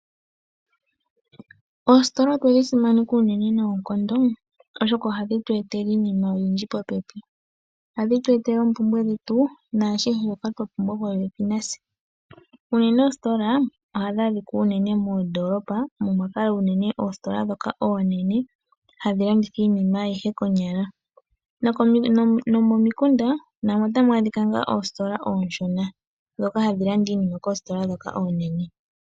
Oositola otwedhi dhi simaneka unene noonkondo, oshoka ohadhi tweetelele iinima oyindji popepi, ohadhi tweetele oompumbwe dhetu po pepi natse unene. Oositola ohadhi adhika unene moondolopa, unene tuu ndhoka hadhi landitha iinima ayihe konyala nomo mikunda dhimwe ohamu adhika oositola ooshona ndhono hadhi landa iinima koositola ndhoka oonene.